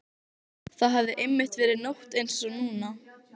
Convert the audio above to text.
Það hafði einmitt verið nótt einsog núna.